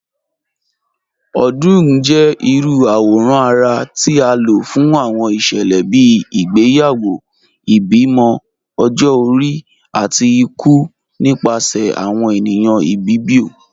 Odung jẹ irú awòrán ara ti a ló fún awọn iṣẹlẹ bíi ìgbéyàwó, ìbímọ, ọ̀jọ-ọ̀ri, àti ìkù nípasẹ̀ awọn ènìyàn Ìbibio.